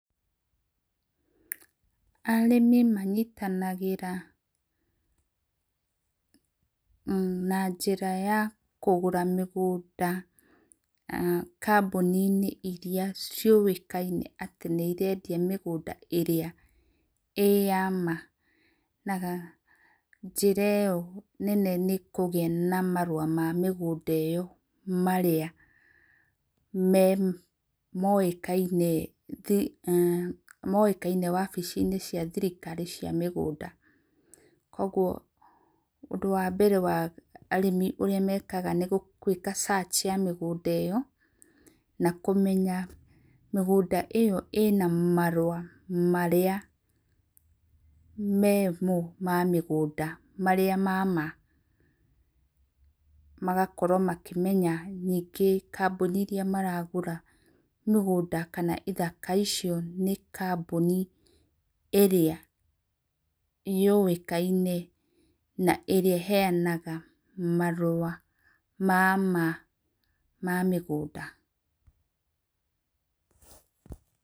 Arĩmi manyitanagĩra na njĩra ya kũgũra mĩgũnda ,kambũni-inĩ iria ciũĩkaine atĩ nĩ irendia mĩgũnda ĩrĩa ĩ ya maa, na njĩra ĩyo nene nĩkũgĩa na marua ma mĩgũnda ĩyo, marĩa me moĩkaine, moĩkaine obici cia thirikari cia mĩgũnda, kogwo ũndũ wa mbere wa , arĩmi ũrĩa mekaga nĩ gwĩka search ya mĩgũnda ĩyo, na kũmenya mĩgũnda ĩyo ĩna marua marĩa me mo ma mĩgũnda, marĩa ma maa, magakorwo makĩmenya ningĩ kambũni iria maragũra mĩgũnda kana ithaka icio, nĩ kambũni ĩrĩa yũĩkaine , na ĩrĩa ĩheanaga marua ma maa ma mĩgũnda.